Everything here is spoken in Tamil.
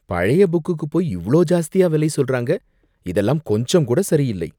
பழைய புக்குக்கு போய் இவ்ளோ ஜாஸ்தியா விலை சொல்றாங்க, இதெல்லாம் கொஞ்சம் கூட சரி இல்லை